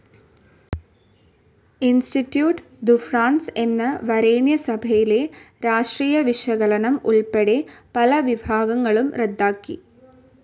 Institute ദു France എന്ന വരേണ്യസഭയിലെ രാഷ്ട്രീയവിശകലനം ഉൾപ്പെടെ പല വിഭാഗങ്ങളും റദ്ദാക്കി.